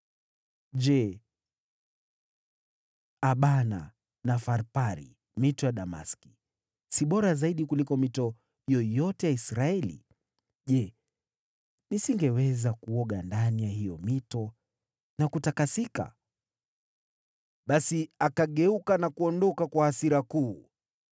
Je, Abana na Farpari, mito ya Dameski, si bora zaidi kuliko mito yoyote ya Israeli? Je, nisingeweza kuoga ndani ya hiyo mito na kutakasika?” Basi akageuka na kuondoka kwa hasira kuu.